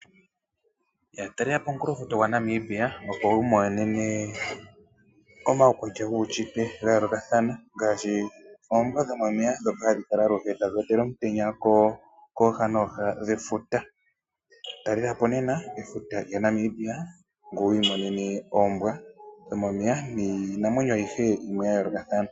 Talela po omunkulofuta gwaNamibia opo wi imonene omaukwatya guunshitwe ga yoolokathana ngaashi oombwa dhomomeya ndhoka hadhi kala aluhe tadhi otele omutenya kooha nooha dhefuta. Talela po nena efuta lyaNamibia ngoye wu imonene oombwa dhomomeya niinamwenyo ayihe yimwe ya yoolokathana.